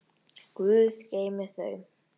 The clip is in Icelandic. Guð geymi þau.